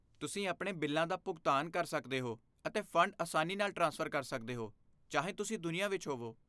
ਤੁਸੀਂ ਆਪਣੇ ਬਿੱਲਾਂ ਦਾ ਭੁਗਤਾਨ ਕਰ ਸਕਦੇ ਹੋ, ਅਤੇ ਫੰਡ ਆਸਾਨੀ ਨਾਲ ਟ੍ਰਾਂਸਫਰ ਕਰ ਸਕਦੇ ਹੋ, ਚਾਹੇ ਤੁਸੀਂ ਦੁਨੀਆਂ ਵਿੱਚ ਹੋਵੋ।